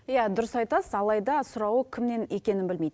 иә дұрыс айтасыз алайда сұрауы кімнен екенін білмейді